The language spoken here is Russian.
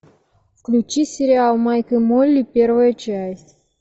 включи сериал майк и молли первая часть